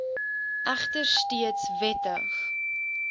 egter steeds wettig